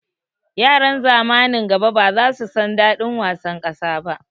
Yaran zamanin gaba baza su san daɗin wasan ƙasa ba